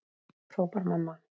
hrópar mamma.